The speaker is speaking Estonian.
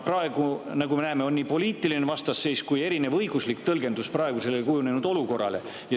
Praegu, nagu me näeme, nii poliitilise vastasseisuga kui ka kujunenud olukorra erineva õigusliku tõlgendusega.